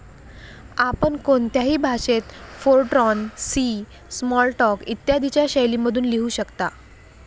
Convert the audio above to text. आपण कोणत्याही भाषेत फोरट्रॉन, सी, स्मॉलटॉक, इत्यादीच्या शैलीमधून लिहू शकता.